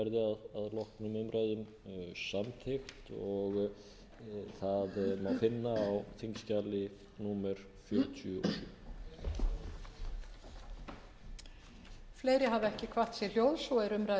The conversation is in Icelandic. leggur til að það verði að loknum umræðum samþykkt það má finna á þingskjali númer fjörutíu og sjö